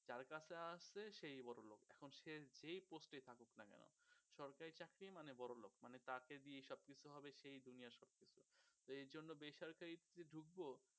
যার কাছে আছে সেই বড়োলোক এখন সে যেই post থাকুক না কেন সরকারি চাকরি মানেই বড়োলোক মানে তাকে দিয়েই সবকিছু হবে সেই দুনিয়ার সব তো এইজন্য বেসরকারি চাকরিতে যে ঢুকবো